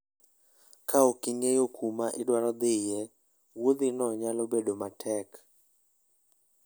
Ka ok ing'eyo kuma idwaro dhiye, wuodhino nyalo bedo matek.